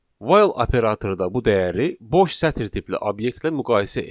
While operatorda bu dəyəri boş sətir tipli obyektlə müqayisə edir.